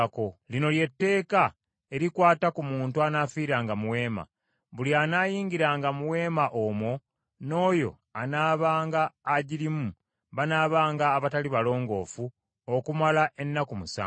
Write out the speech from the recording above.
“Lino lye tteeka erikwata ku muntu anaafiiranga mu weema: Buli anaayingiranga mu weema omwo n’oyo anaabanga agirimu banaabanga abatali balongoofu okumala ennaku musanvu.